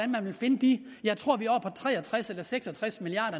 man vil finde de tre og tres eller seks og tres milliard